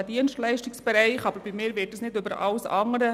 Doch dieses Argument stelle ich nicht über alles andere.